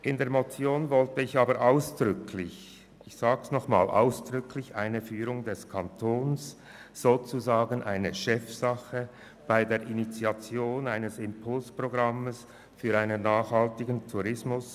In der Motion wollte ich aber ausdrücklich die Führung durch den Kanton, sozusagen als Chefsache, bei der Initiierung eines Impulsprogramms für einen nachhaltigen Tourismus.